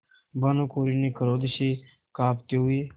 भानुकुँवरि ने क्रोध से कॉँपते हुए